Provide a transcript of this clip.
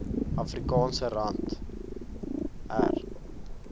afrikaanse rand r